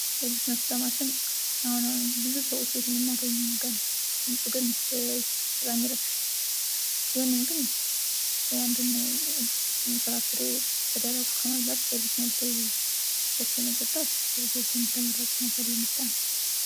የጁስ መፍጫ ማሽን ብዙ ሰዎች ቤት የምናገኘው ነገር ነው። ድምጹ ግን ውይ! በጣም ይረብሻል ቢሆንም ግን አንድን ፍራፍሬ በደረቁ ከመብላት በጅስ መልኩ ፈጭቶ መጠጣት በብዙዎች ዘንድ ተመራጭነት ያለው ምርጫ ነው።